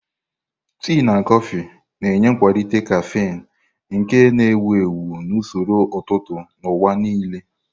Tii na kọfị na-enye nkwalite caffeine, nke a na-ewu ewu na usoro ụtụtụ n'ụwa nile.